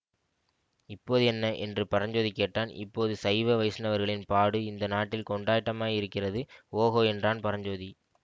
இப்போது என்ன என்று பரஞ்சோதி கேட்டான் இப்போது சைவ வைஷ்ணவர்களின் பாடு இந்த நாட்டில் கொண்டாட்டமாயிருக்கிறது ஓஹோ என்றான் பரஞ்சோதி